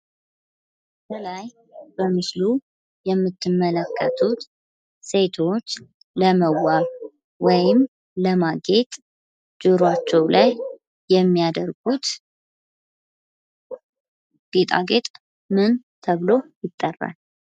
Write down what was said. ምስሉ ላይ የምንመለከተው ሴቶች ለማጌጥ የሚጠቀሙበት ጌጣጌጥ ምን ተብሎ ይጠራል?